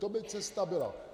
To by cesta byla.